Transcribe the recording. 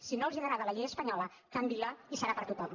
si no els agrada la llei espanyola canviïnla i serà per a tothom